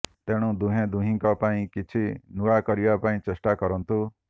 ତେଣୁ ଦୁହେଁ ଦୁହିଁଙ୍କ ପାଇଁ କିଛି ନୂଆ କରିବା ପାଇଁ ଚେଷ୍ଟା କରନ୍ତୁ